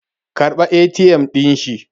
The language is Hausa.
karɓa ATM din shi